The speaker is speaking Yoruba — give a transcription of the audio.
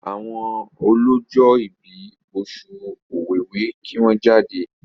àwọn ọlọjọ ibí Oṣù Ọ̀wẹwẹ kí wón jáde!